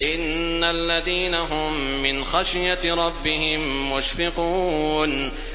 إِنَّ الَّذِينَ هُم مِّنْ خَشْيَةِ رَبِّهِم مُّشْفِقُونَ